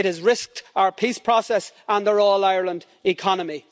It has risked our peace process and our all Ireland economy.